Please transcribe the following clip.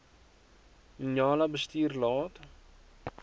njala bestuurder laat